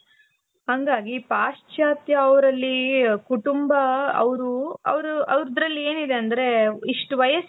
ಹಂಗಾಗಿ ಪಾಶ್ಚಾತ್ಯ ಅವರಲ್ಲಿ ಕುಟುಂಬ ಅವರು ಅವರು ಅವರದ್ರಲ್ಲಿ ಏನಿದೆ ಅಂದ್ರೆ ಇಷ್ಟು ವಯಸ್ಸು